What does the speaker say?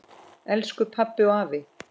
Elsku pabbi og afi.